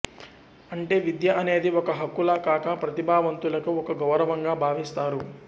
అంటే విద్య అనేది ఒక హక్కులా కాక ప్రతిభావంతులకు ఒక గౌరవంగా భావిస్తారు